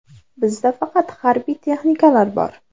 Bizda faqat harbiy texnikalar bor.